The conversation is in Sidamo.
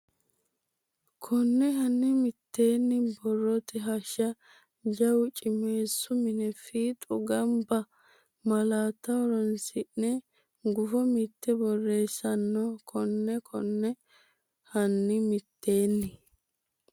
Konne hanni mitteenni borrote hashsha jawu cimeessu mine fiixu gamba malaatta horonsi ne gufo mitte borreessino Konne Konne hanni mitteenni.